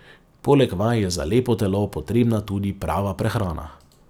Poleg vaj je za lepo telo potrebna tudi prava prehrana.